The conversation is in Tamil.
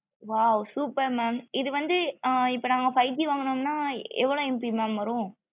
wow super mam இது வந்து ஆ இப்போ நாங்க five G வாங்குனோம்ன எவளோ MB mam வரும்